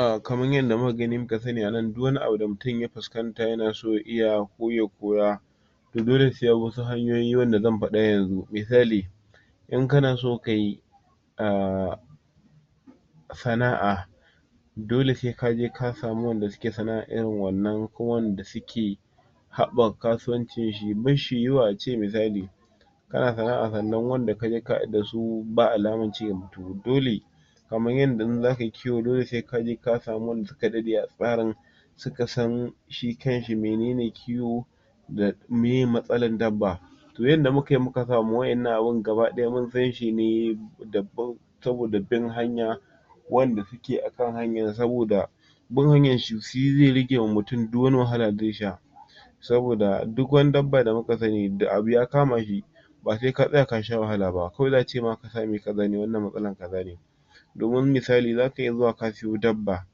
um kaman yanda muka gani muka sani a nan duk wani abu da mutum ya fuskanta ya na so ya iya ko ya koya to dole sai bi wasu hanyoyi wanda zan faɗa a yanzu. Misali in ka na so kayi um sana'a dole sai kaje ka samu wanda suke sana'a irin wannan ko wanda suke haɓaka kasuwanci shi, basshi yiwuwa ace misali ka na sana'a sannan wanda kaje ka haɗu dasu ba alaman cigaba. To dole kaman yanda in za kai yi kiwo dole sai kaje ka samu wanda suka daɗe a tsarin suka san shi kanshi minene kiwo, da miye matsalan dabba. To yanda muka yi muka samu waƴannan abun gaba ɗaya mun san shi ne da bin, saboda bin hanya wanda suke akan hanyan saboda bin hanyan su shi zai rage ma mutum duk wani wahala da zai sha. Saboda duk wani dabba da muka sani da abu ya kama shi ba sai ka tsaya ka sha wahala ba kawai za'a ce ma za mu yi kaza ne, wannan matsalan kaza ne. Domin misali za ka iya zuwa ka siyo dabba,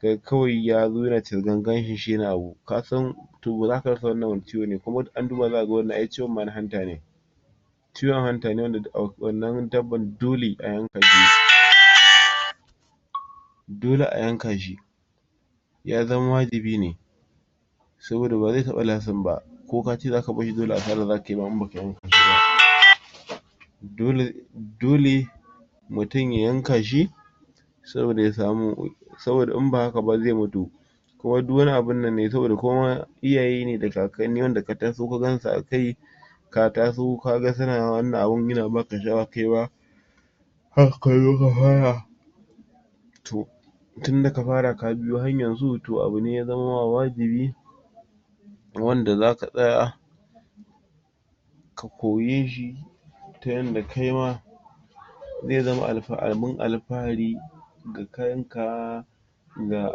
sai kawai ya zo ya na cisgan gashin shi ya na abu kasan to ba za ka rasa wannan wane ciwo ne, kuma da an duba za'a ga wannan ai ciwon ma na hanta ne. Ciwon hanta ne duk a wannan dabban dole a yanka shi. Dole a yanka shi. ya zama wajibi ne. Saboda ba zai taɓa lasting ba. Ko ka ce za ka bar shi dole asara za ka yi in baka yanka shi ba. Dole. dole mutum ya yanka shi saboda ya samu saboda ya sami in ba haka ba zai mutu.saboda Ko duk wani abun nan ne saboda ko iyaye ne da kakanni wanda ka taso ka gansu akai ka taso ka ga su na wannan abun ya na baka sha'awa kaima haka ka zo ka fara. To tunda ka fara ka biyo hanyan su, to abu ne ya zaman ma wajibi wanda za ka tsaya ka koye shi ta yanda kaima zai zama alfa... abun alfahari ga kanka, ga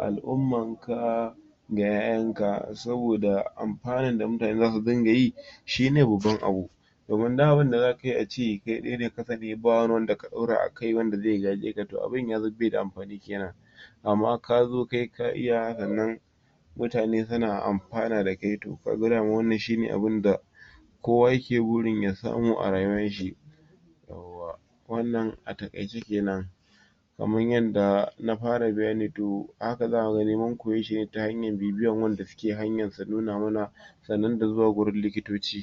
al'umman ka, ga ƴaƴan ka, saboda amfanan da mutane za su dinga yi shi ne babban abu. Domin duk abun da za ka yi ace kai ɗai ne ya kasance ba wani wan ɗora akai wanda zai gaje ka to abun ya zan bai da amfani ke nan. Amma ka zo kai ka iya sannan mutane su na amfana da kai to ka ga daman wannan shi ne abunda kowa ya ke burin ya samu a rayuwan shi. Yawwa, Wannan a taƙaice kenan. Kaman yanda na fara bayani to haka za ka ga dai mun koye shi ne ta hanyan bibiyan wanda ke hanyan su nuna muna sannan da zuwa gurin likitoci.